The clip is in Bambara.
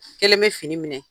Kelen be fini minɛ.